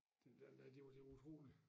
Den dér nej det var det var utroligt